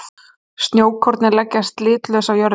Snjókornin leggjast litlaus á jörðina.